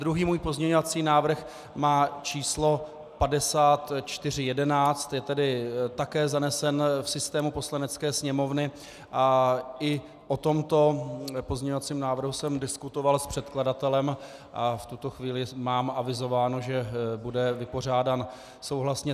Druhý můj pozměňovací návrh má číslo 5411, je tedy také zanesen v systému Poslanecké sněmovny, a i o tomto pozměňovacím návrhu jsem diskutoval s předkladatelem a v tuto chvíli mám avizováno, že bude vypořádán souhlasně.